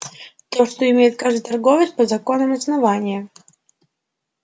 то что имеет каждый торговец по законам основания